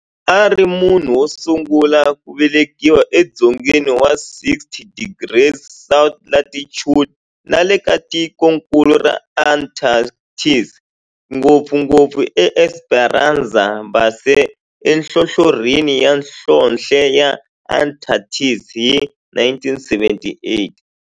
A ri munhu wosungula ku velekiwa e dzongeni wa 60 degrees south latitude nale ka tikonkulu ra Antarctic, ngopfungopfu eEsperanza Base enhlohlorhini ya nhlonhle ya Antarctic hi 1978.